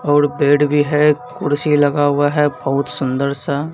और पेड़ भी हैं कुर्सी लगा हुआ हैं बहुत सुन्दर सा--